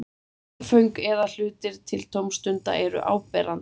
Leikföng eða hlutir til tómstunda eru áberandi.